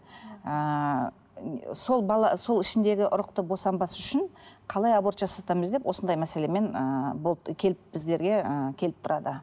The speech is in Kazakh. ііі сол бала сол ішіндегі ұрықты босанбас үшін қалай аборт жасатамыз деп осындай мәселемен ііі болып келіп біздерге ііі келіп тұрады